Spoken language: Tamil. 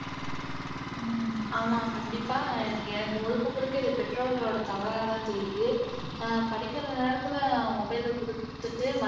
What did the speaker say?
ஹம் ஆமா கண்டிப்பா எனக்கு முழுக்க முழுக்க இது பெற்றோர்களோட தவறாதான் தெரியுது படிக்கிற நேரத்துல mobile ஐ குடுத்துட்டு